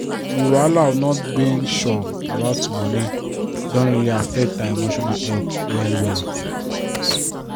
di wahala of not being sure about money don really affect her emotional health well well